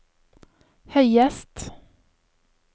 høyest